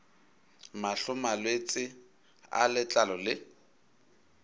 mahlo malwetse a letlalo le